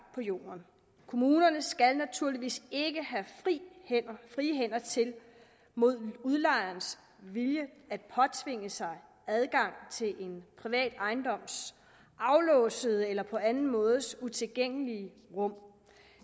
på jorden kommunerne skal naturligvis ikke have frie hænder til mod udlejerens vilje at påtvinge sig adgang til en privat ejendoms aflåste eller på anden måde utilgængelige rum